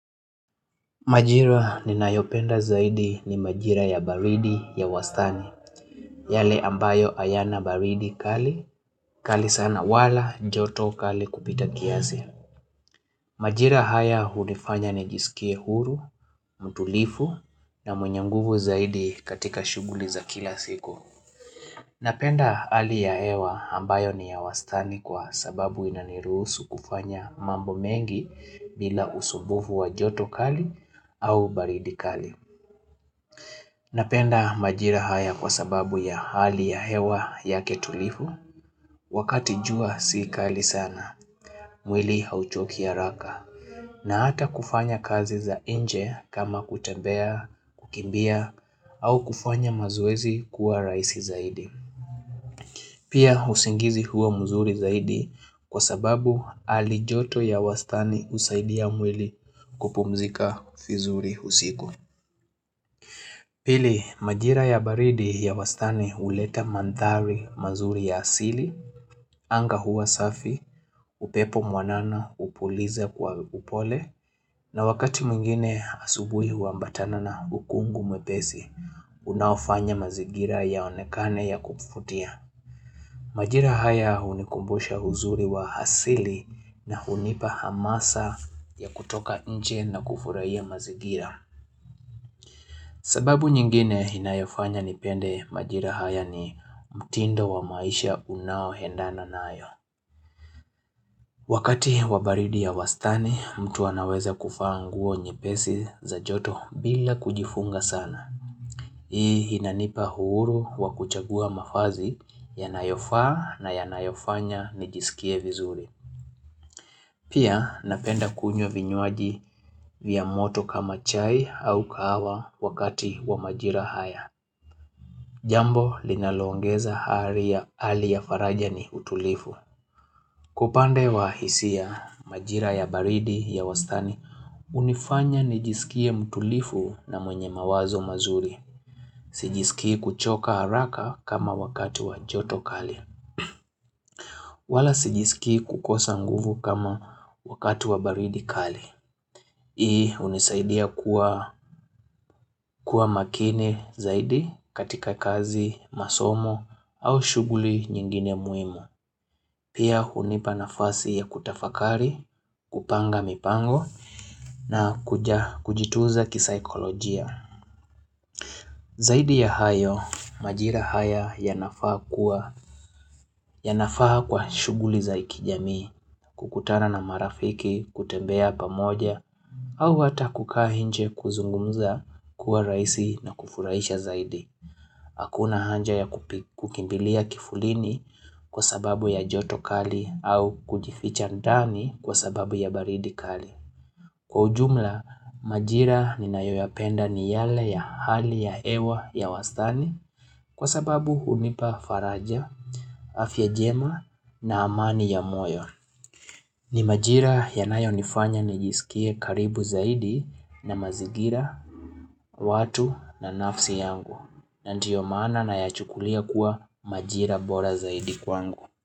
Majira ni nayopenda zaidi ni majira ya baridi ya wastani, yale ambayo ayana baridi kali, kali sana wala, joto kali kupita kiazi. Majira haya hunifanya ni jisikie huru, mtulifu na mwenye nguvu zaidi katika shuguli za kila siku. Napenda ali ya hewa ambayo ni ya wastani kwa sababu inanirusu kufanya mambo mengi bila usubufu wa joto kali au baridi kali. Napenda majira haya kwa sababu ya hali ya hewa yake tulifu, wakati jua si kali sana, mwili hauchoki araka, na ata kufanya kazi za inje kama kutembea, kukimbia, au kufanya mazoezi kuwa raisi zaidi. Pia usingizi huwa mzuri zaidi kwa sababu alijoto ya wastani usaidia mwili kupumzika vizuri usiku. Pili, majira ya baridi ya wastani uleta mandhari mazuri ya asili, anga huwa safi, upepo mwanana upuliza kwa upole, na wakati mwingine asubui huambatana na hukungu mwepesi, unaofanya mazigira yaonekane ya kupufutia. Majira haya unikumbusha uzuri wa asili na hunipa hamasa ya kutoka inje na kufurahia mazigira. Sababu nyingine inayofanya nipende majira haya ni mtindo wa maisha unaoendana nayo. Wakati wa baridi ya wastani mtu anaweza kuvaa nguo nyepesi za joto bila kujifunga sana. Hii inanipa huru wa kuchagua mafazi yanayofaa na yanayofanya nijisikie vizuri. Pia napenda kunywa vinywaji vya moto kama chai au kahawa wakati wa majira haya. Jambo linaloongeza hali ya faraja ni utulifu. Kwa upande wa hisia majira ya baridi ya wastani, unifanya nijisikie mtulivu na mwenye mawazo mazuri. Sijisikii kuchoka haraka kama wakati wa joto kali. Wala sijisikii kukosa nguvu kama wakati wa baridi kali. Hii unisaidia kuwa makini zaidi katika kazi, masomo au shuguli nyingine muimu. Pia hunipa nafasi ya kutafakari, kupanga mipango na kujituza kisaikolojia. Zaidi ya hayo, majira haya ya nafaa kwa shuguli zaikijami, kukutana na marafiki, kutembea pamoja, au hata kukaa nje kuzungumza kuwa raisi na kufuraisha zaidi. Hakuna hanja ya kukimbilia kifulini kwa sababu ya joto kali au kujificha ndani kwa sababu ya baridi kali. Kwa ujumla, majira nina yoyapenda ni yale ya hali ya ewa ya wastani kwa sababu hunipa faraja, afya jema na amani ya moyo. Ni majira yanayonifanya nijisikie karibu zaidi na mazigira, watu na nafsi yangu. Na ndiyo maana na yachukulia kuwa majira bora zaidi kwangu.